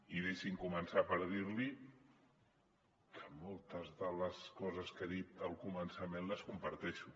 i deixi’m començar per dir li que moltes de les coses que ha dit al començament les comparteixo